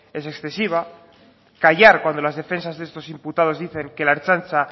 es excesiva callar cuando las defensas de estos imputados dicen que la ertzaintza